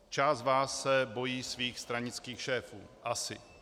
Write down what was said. Část z vás se bojí svých stranických šéfů, asi.